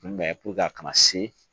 a kana se